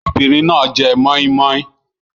Obìnrin náà jẹ mọ́í-mọ́í.